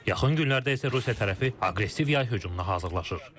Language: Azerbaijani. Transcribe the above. Yaxın günlərdə isə Rusiya tərəfi aqressiv yay hücumuna hazırlaşır.